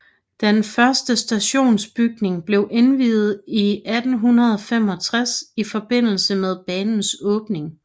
Den første stationsbygning blev indviet i 1865 i forbindelse med banens åbning